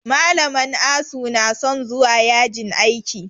Malaman asu na son zuwa yajin aiki